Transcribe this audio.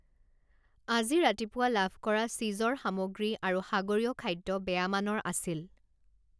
আজি ৰাতিপুৱা লাভ কৰা চিজৰ সামগ্ৰী আৰু সাগৰীয় খাদ্য বেয়া মানৰ আছিল।